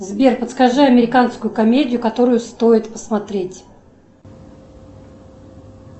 сбер подскажи американскую комедию которую стоит посмотреть